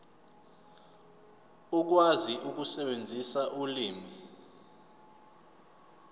ukwazi ukusebenzisa ulimi